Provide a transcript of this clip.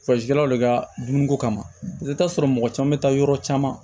le ka dumuni ko kama i bi taa sɔrɔ mɔgɔ caman bi taa yɔrɔ caman